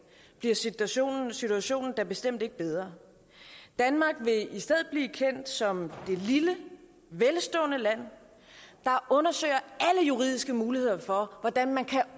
bliver situationen situationen da bestemt ikke bedre danmark vil i stedet blive kendt som det lille velstående land der undersøger alle juridiske muligheder for hvordan man kan